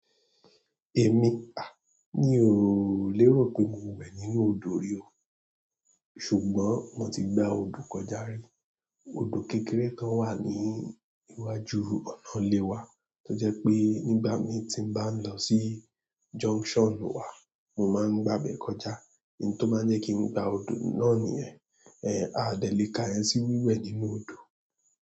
Èmi, à, mi ò lérò pé mo wẹ̀ nínú odò rí o. Ṣùgbọ́n mo ti gba odò kọjá rí. Odò kékeré kan wà ní iwájú ọ̀nà ilé wa, tó jẹ́ pé nígbà mi tí m bá ń lọ sí junction wà, mo máa ń gba'bẹ̀ kọjá. Ohun tó máa ń jẹ́ kí n gba odò náà nìyẹn. Ẹ à dẹ̀ lé kàyẹn sí wíwẹ̀ nínú odò.